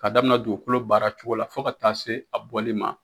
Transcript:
Ka daminɛ dugukolo baara cogo la fɔ ka taa se a bɔli ma